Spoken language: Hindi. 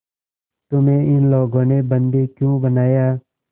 तुम्हें इन लोगों ने बंदी क्यों बनाया